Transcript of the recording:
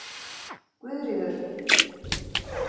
Guðríður